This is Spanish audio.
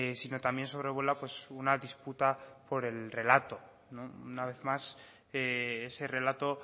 sino también sobrevuela una disputa por el relato una vez más ese relato